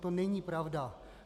To není pravda.